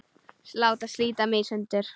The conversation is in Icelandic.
Láta slíta mig í sundur.